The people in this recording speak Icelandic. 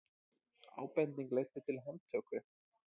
Ábending leiddi til handtöku